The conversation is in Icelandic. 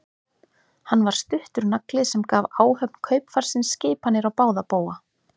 Hann var stuttur nagli sem gaf áhöfn kaupfarsins skipanir á báða bóga.